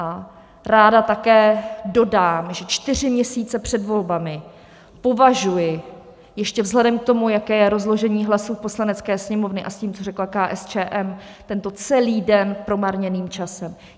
A ráda také dodám, že čtyři měsíce před volbami považuji ještě vzhledem k tomu, jaké je rozložení hlasů v Poslanecké sněmovně, a s tím, co řekla KSČM, tento celý den promarněným časem.